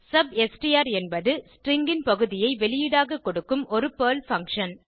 substr என்பது stringன் பகுதியை வெளியீடாக கொடுக்கும் ஒரு பெர்ல் பங்ஷன்